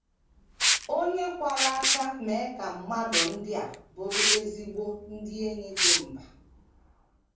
O nyekwara aka mee ka mmadụ ndị a bụrụ ezigbo ndị enyi dị mba.